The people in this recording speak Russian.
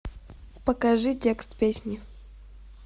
покажи текст песни